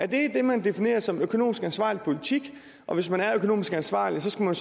det det man definerer som økonomisk ansvarlig politik og hvis man er økonomisk ansvarlig skal man